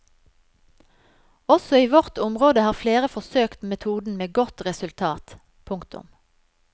Også i vårt område har flere forsøkt metoden med godt resultat. punktum